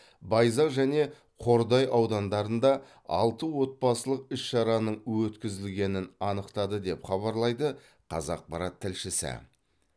байзақ және қордай аудандарында алты отбасылық іс шараның өткізілгенін анықтады деп хабарлайды қазақпарат тілшісі